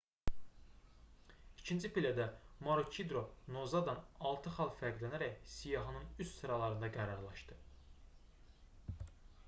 i̇kinci pillədə maroçidro noozadan altı xal fərqlənərək siyahının üst sıralarında qərarlaşdı